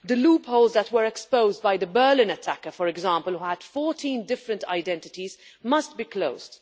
The loopholes that were exposed by the Berlin attacker, for example, who had 14 different identities, must be closed.